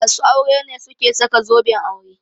Masu aure ne suke saka zoben aure.